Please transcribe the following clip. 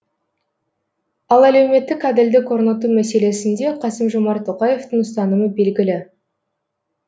ал әлеуметтік әділдік орнату мәселесінде қасым жомарт тоқаевтың ұстанымы белгілі